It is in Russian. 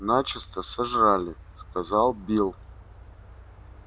начисто сожрали сказал билл